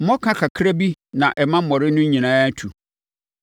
“Mmɔka kakra bi na ɛma mmɔre no nyinaa tu.”